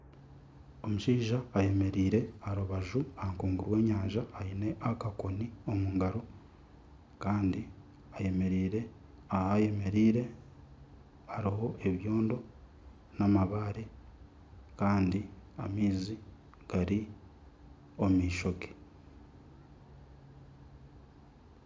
Omushaija ayemereire aha rubaju aha nkungu y'enyanja aine akakoni omu ngaro kandi aha yemereire hariho ebyoondo n'amabare kandi amaizi gari omu maisho ge.